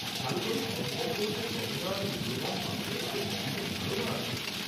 কারু কারু সম্পদ বলতে গহনা আর মুল্যবান পাথরের মতো বিভিন্ন ধারনা আছে।